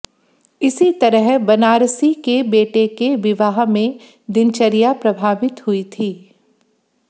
इसी तरह बनारसी के बेटे के विवाह में दिनचर्या प्रभावित हुई थी